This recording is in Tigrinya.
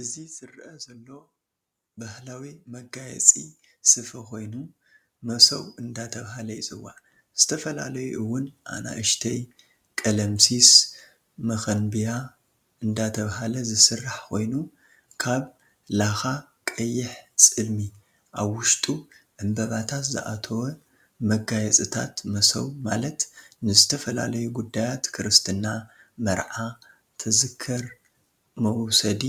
እዚ ዝርአ ዘሎ በህላዊ መጋየፂ ሰፈኮይኑ መሰው እዳተበሃለ ይፅዋዕ ዝተፈላላዩ እውን ኣንእሽተይ ቀለምሲስ፣ መከንብያ እዳተበሃለ ዝስራሕ ኮይኑ ካብ ላካ፣ ቀይሕ ፅልሚ ኣብ ውሽጡ ዕንበበታት ዝኣተወ መጋየፅታት መሰው ማለት ንዝተፈላላዩ ጉዳያት ክርስትና ፣መርዓ፣ ተዝከር መውሰዲ